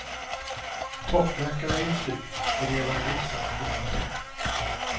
Toppmärkena är ju slut och det gäller att visa att man varit här.